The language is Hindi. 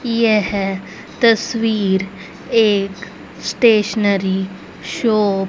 यह तस्वीर एक स्टेशनरी शॉप --